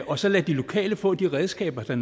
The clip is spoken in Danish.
og så lade de lokale få de redskaber der